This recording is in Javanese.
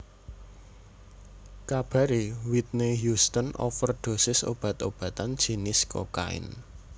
Kabare Whitney Houston overdhosis obat obatan jinis kokain